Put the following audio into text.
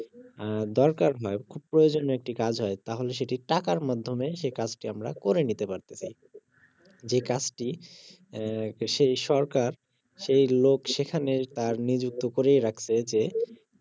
আহ দরকার হয় খুব প্রয়োজনীয় একটি কাজ হয় তাহলে সেটি টাকার মাধ্যমে সে কাজটি আমরা করে নিতে পারতেছি যে কাজটি আহ সেই সরকার সেই লোক সেখানে তার নিযুক্ত করেই রাখছে যে